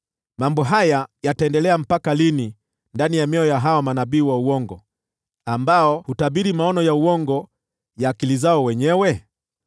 Mambo haya yataendelea mpaka lini ndani ya mioyo ya hawa manabii wa uongo, ambao hutabiri maono ya uongo ya akili zao wenyewe?